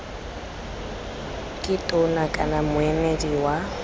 ke tona kana moemedi wa